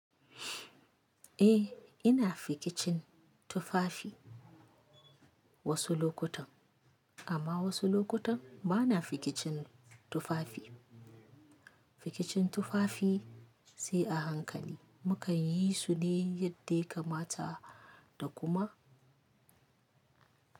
Eh ina fikicin tufafi wasu lokutan amma wasu lokutan bana fikicin tufafi. Fikicin tufafi sai a hankali mu kan yi su ne yadda ya kamata da kuma.